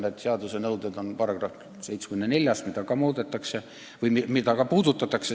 Need seaduse nõuded on §-s 74, mida ka selles eelnõus puudutatakse.